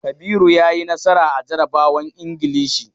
Kabiru ya yi nasara a jarabawan Ingilishi.